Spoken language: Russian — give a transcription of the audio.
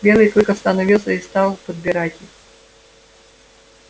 белый клык остановился и стал подбирать их